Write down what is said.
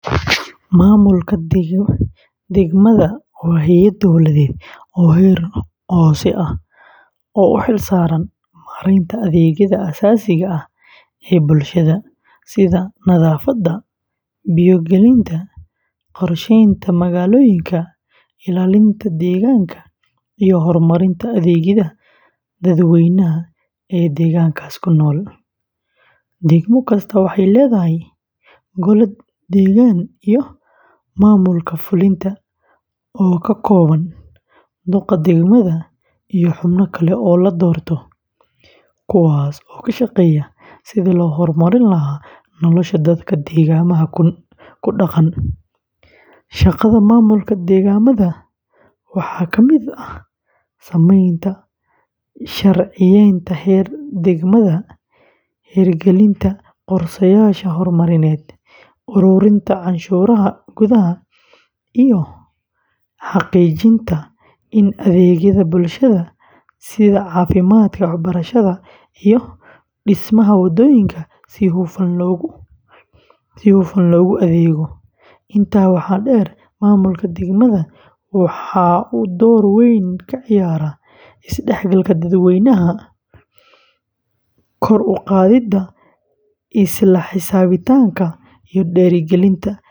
Maamulka degmada waa hay’ad dowladeed oo heer hoose ah, oo u xil saaran maareynta adeegyada aasaasiga ah ee bulshada, sida nadaafadda, biyo gelinta, qorsheynta magaalooyinka, ilaalinta deegaanka, iyo horumarinta adeegyada dadweynaha ee deegaankaas ku nool. Degmo kastaa waxay leedahay gole deegaan iyo maamulka fulinta oo ka kooban duqa degmada iyo xubno kale oo la doorto, kuwaas oo ka shaqeeya sidii loo horumarin lahaa nolosha dadka degmada ku dhaqan. Shaqada maamulka degmada waxaa ka mid ah samaynta sharciyeynta heer degmada, hirgelinta qorshayaasha horumarineed, ururinta canshuuraha gudaha, iyo xaqiijinta in adeegyada bulshada sida caafimaadka, waxbarashada, iyo dhismaha wadooyinka si hufan loogu adeego. Intaa waxaa dheer, maamulka degmada waxa uu door weyn ka ciyaaraa isdhexgalka dadweynaha, kor u qaadidda isla xisaabtanka, iyo dhiirrigelinta.